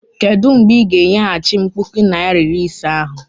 Kedụ mgbe ị ga- enyeghachi m puku naịra na iri ise ahụ?